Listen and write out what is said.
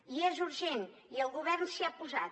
i és urgent i el govern s’hi ha posat